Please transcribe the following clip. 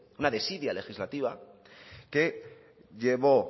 una desidia legislativa que llevó